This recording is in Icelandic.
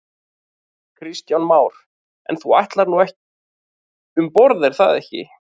Kristján Már: En þú ætlar nú um borð er það ekki?